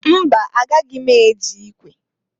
Mba! Agaghị m eji ikwe.